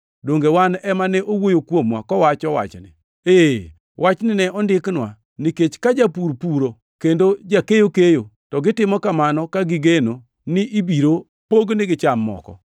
Donge wan ema ne owuoyo kuomwa kowacho wachni? Ee, wachni ne ondiknwa, nikech ka japur puro kendo jakeyo keyo, to gitimo kamano ka gigeno ni ibiro pognigi cham moko.